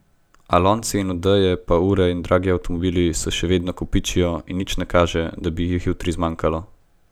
A lonci in odeje pa ure in dragi avtomobili se še vedno kopičijo in nič ne kaže, da bi jih jutri zmanjkalo.